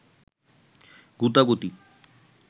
গুতাগুতি